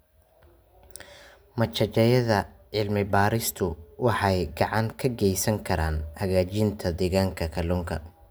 Machadyada cilmi-baadhistu waxay gacan ka geysan karaan hagaajinta deegaanka kalluunka.